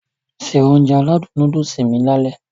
Se Ounjẹ aládùn nóódùsì mi lálẹ́